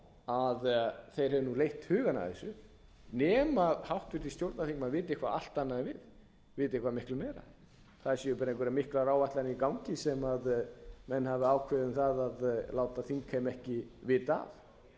hefði leitt hugann að þessu nema háttvirtur stjórnarþingmenn viti eitthvað allt annað en við viti eitthvað miklu meira það séu bara einhverjar miklar áætlanir í gangi sem menn hafi ákveðið að láta þingheim ekki vita af